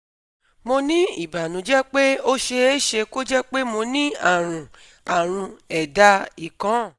Mo ní ìbànújẹ pé ó ṣeé ṣe kó jẹ́ pé mo ní àrùn àrùn ẹ̀dá ìkóǹ